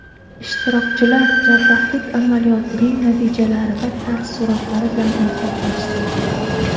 Ishtirokchilar jarrohlik amaliyotining natijalari va taassurotlari bilan o‘rtoqlashdi.